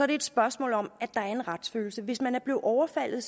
det et spørgsmål om at der er en retsfølelse hvis man er blevet overfaldet